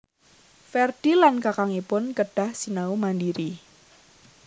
Ferdi lan kakangipun kedah sinau mandiri